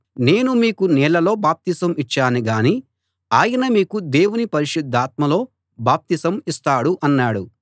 నేను మీకు నీళ్లలో బాప్తిసం ఇచ్చాను గాని ఆయన మీకు దేవుని పరిశుద్ధాత్మలో బాప్తిసం ఇస్తాడు అన్నాడు